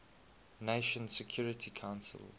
nations security council